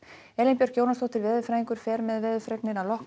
Elín Björk Jónasdóttir veðurfræðingur fer með veðurfregnir að loknum